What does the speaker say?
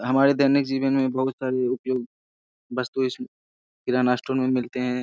हमारे दैनिक जीवन मे बहुत सारी उपयोग वस्तु इसमे किराना स्टोर मे मिलते है ।